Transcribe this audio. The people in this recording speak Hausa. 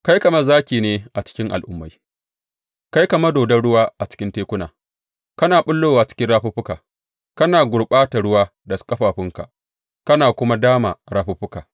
Kai kamar zaki ne a cikin al’ummai; kai kamar dodon ruwa a cikin tekuna kana ɓullowa cikin rafuffukanka, kana gurɓata ruwa da ƙafafunka kana kuma dama rafuffuka.